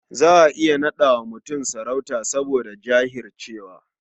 Za a iya naɗa wa mutum muƙami saboda jahircewa.